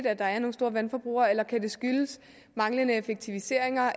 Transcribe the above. at der er nogle store vandforbrugere eller kan skyldes manglende effektivisering